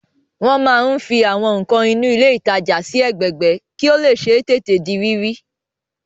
Wọ́n máa ń fi Àwọn nǹkan inú ilé ìtajà sí ẹgbẹẹgbẹ́ kí ó lè ṣeé tètè di rírí